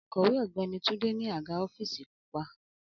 Akowe Ọgbẹni Tunde ni aga ọfiisi pupa